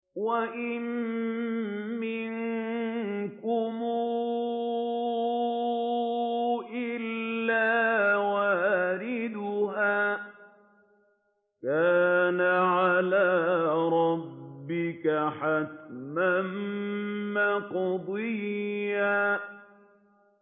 وَإِن مِّنكُمْ إِلَّا وَارِدُهَا ۚ كَانَ عَلَىٰ رَبِّكَ حَتْمًا مَّقْضِيًّا